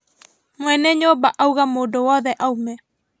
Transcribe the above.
Mwene nyũmba auga mũndũ wothe aume